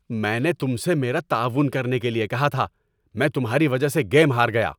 میں نے تم سے میرا تعاون کرنے کیلئے کہا تھا! میں تمہاری وجہ سے گیم ہار گیا!